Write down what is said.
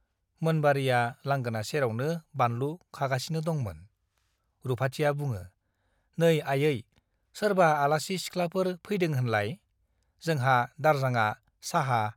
मोनबारीया लांगोना सेरावनो बानलु खागासिनो दंमोन । रुपाथिया बुङो , नै आयै , सोरबा आलासि सिखलाफोर फैदों होनलाय ? जोंहा दारजांआ चाहा